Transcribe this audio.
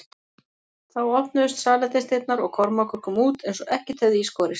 Þá opnuðust salernisdyrnar og Kormákur kom út eins og ekkert hefði í skorist.